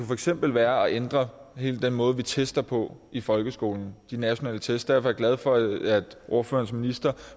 for eksempel være at ændre hele den måde vi tester på i folkeskolen de nationale test derfor er jeg glad for at ordførerens minister